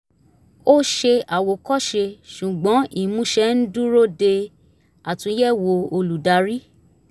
ó ṣe àwòkọ́ṣe ṣùgbọ́n imúṣẹ ń dúró de àtúnyẹ̀wò olùdarí